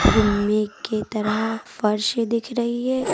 गुम्मे के तरह फर्श दिख रही है।